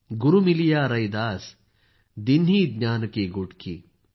गुरू मिलिया रैदास दीन्हीं ज्ञान की गुटकी